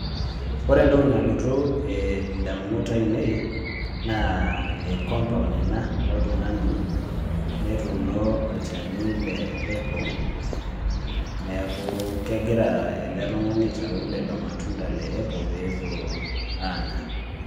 Ore entoki nalotu indamunot ainei, naa compound ena oltung'ani, netuuno olchani le apple, neeku kegira ele tung'ani aitau lelo matunda le apple pepuo anya.